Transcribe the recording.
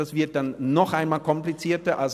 Das würde noch komplizierter.